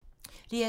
DR2